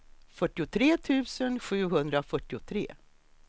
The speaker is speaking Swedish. fyrtiotre tusen sjuhundrafyrtiotre